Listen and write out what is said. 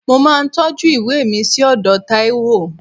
Mo máa ń tọ́jú ìwé mi sí ọ̀dọ̀ Taiwo